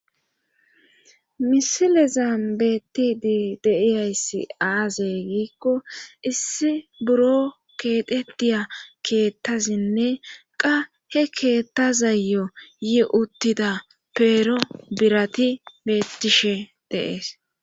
Misilezan beetti deiyayssi aazey giikko issi buro keetetiya keettasinne qa he keetta zayo yi uttida peero birati beettishe deees.